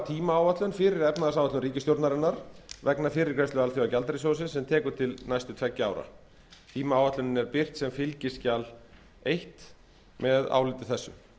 tímaáætlun fyrir efnahagsáætlun ríkisstjórnarinnar vegna fyrirgreiðslu alþjóðagjaldeyrissjóðsins sem tekur til næstu tveggja ára tímaáætlunin er birt sem fylgiskjal eins með áliti þessu